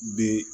Be